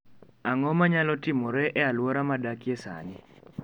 Ang’o ma nyalo timore e alwora ma adakie sani?